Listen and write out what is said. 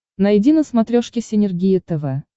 найди на смотрешке синергия тв